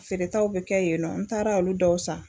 Feeretaw bɛ kɛ yennɔ n taara olu dɔw san.